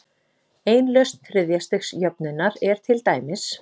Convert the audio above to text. Ein lausn þriðja-stigs jöfnunnar er til dæmis